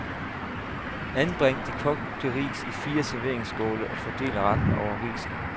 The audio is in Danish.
Anbring de kogte ris i fire serveringsskåle og fordel retten over risene.